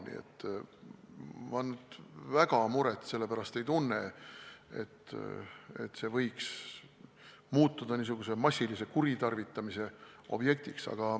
Nii et ma nüüd sellepärast väga muret ei tunne, et see võiks muutuda niisuguse massilise kuritarvitamise objektiks.